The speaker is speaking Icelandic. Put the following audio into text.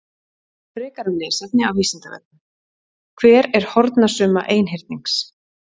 Frekara lesefni á Vísindavefnum: Hver er hornasumma einhyrnings?